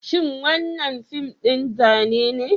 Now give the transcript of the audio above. Shin wannan fim din Zane be?